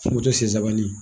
Fo moto sensabanin